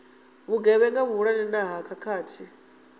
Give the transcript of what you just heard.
vhugevhenga vhuhulwane na ha khakhathi